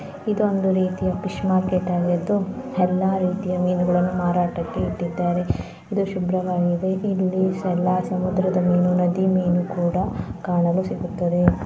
ಈ ಒಂದು ಮೀನಿನ ಮಾರ್ಕೆಟ್ ಆಗಿದೆ ‌ ಹದಿನೈದಕ್ಕೂ ಹೆಚ್ಚು ವಿವಿಧ ರೀತಿಯ ಮೀನುಗಳು ಇದು ಇಲ್ಲಿ ಎಲ್ಲಾ ವಿವಿಧ ಮೀನುಗಳು ನೋಡಬಹುದು ಇದು ಒಂದು ರೀತಿಯ ಫಿಶ್ ಮಾರ್ಕೆಟ್ ಆಗಿದ್ದು ಎಲ್ಲಾ ರೀತಿಯ ಮೀನುಗಳನ್ನು ಮಾರಾಟಕ್ಕೆ ಇಕ್ಕಿದ್ದಾರೆ ಎಲ್ಲಾ ಶುಭವಾಗಿದೆ ಎಲ್ಲಾ ಸಮುದ್ರದ ಮೀನುಗಳು ನದಿ ಮೀನು ಸಹ ಕಾಣಲಿ ಸಿಗುತ್ತದೆ